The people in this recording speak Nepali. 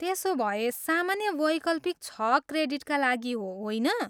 त्यसोभए सामान्य वैकल्पिक छ क्रेडिटका लागि हो, होइन?